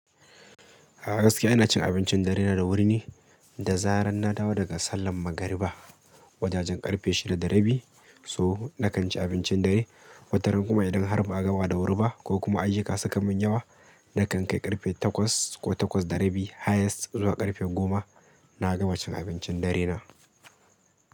A gaskiya ina cin abincin darena da wuri ni, da zarar na dawo daga sallar magariba, wajajen ƙarfe shida da rabi so na kan ci abincin dare. Wataran kuma idan har ba a gama da wuri ba ko kuma ayyuka suka mun yawa, na kan kai ƙarfe takwas ko takwas da rabi highest zuwa ƙarfe goma na gama cin abincin dare na.